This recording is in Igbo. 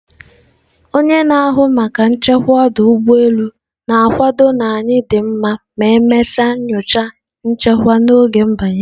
onye na-ahụ maka nchekwa ọdụ ụgbọ elu na-akwado na anyị dị mma ma e mesịa nyocha, nchekwa n'oge m/banye.